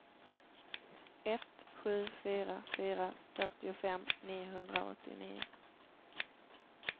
ett sju fyra fyra fyrtiofem niohundraåttionio